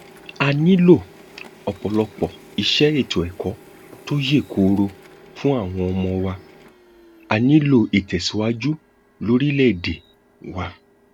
a nílò ọpọlọpọ iṣẹ ètò ẹkọ tó yè kooro fún àwọn ọmọ wa á nílò ìtẹsíwájú lórílẹèdè wa